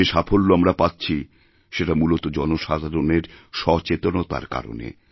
যে সাফল্য আমরাপাচ্ছি সেটা মূলত জনসাধারণের সচেতনতার কারণে